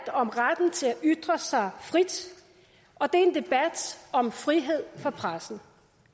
om retten til at ytre sig frit og det er en debat om frihed for pressen